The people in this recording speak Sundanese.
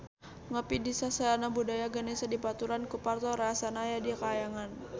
Ngopi di Sasana Budaya Ganesha dibaturan ku Parto rarasaan aya di kahyangan